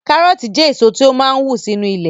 Kárọ̀ọ̀tì jẹ́ èso tó máa n wù sínu ilẹ̀